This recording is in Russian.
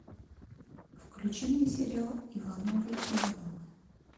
включи мне сериал ивановы ивановы